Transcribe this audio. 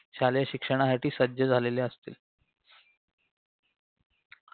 शालेय शिक्षणासाठी सज्ज झालेले असतील